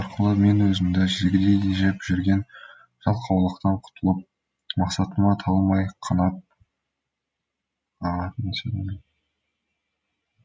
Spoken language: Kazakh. бұл байқау арқылы мен өзімді жегідей жеп жүрген жалқаулықтан құтылып мақсатыма талмай қанат қағатыныма сенемін